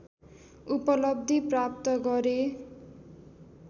उपलब्धि प्राप्त गरे